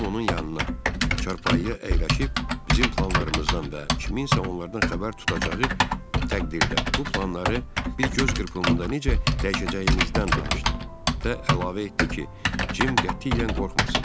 Tom onun yanına, çarpayıya əyləşib bizim planlarımızdan və kimsə onlardan xəbər tutacağı təqdirdə bu planları bir göz qırpımında necə dəyişəcəyimizdən danışdı və əlavə etdi ki, Cim qətiyyən qorxmasın.